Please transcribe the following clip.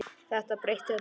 Þetta breytti öllu.